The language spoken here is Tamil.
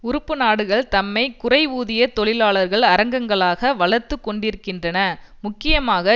உறுப்பு நாடுகள் தம்மை குறைவூதிய தொழிலாளர் அரங்கங்களாக வளர்த்து கொண்டிருக்கின்றன முக்கியமாக